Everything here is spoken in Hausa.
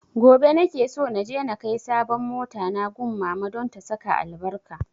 Gobe na ke so naje na kai sabon mota na gun mama don ta saka albarka